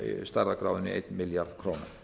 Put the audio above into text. stærðargráðunni einn milljarður króna